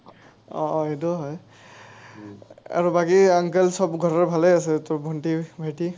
অ, অ। সেইটোও হয়। আৰু বাকী uncle চব ঘৰৰ ভালেই আছেটো? ভণ্টী, ভাইটি?